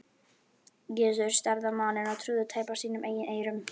Gizur starði á manninn og trúði tæpast sínum eigin eyrum.